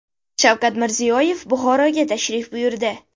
Shavkat Mirziyoyev Buxoroga tashrif buyurdi.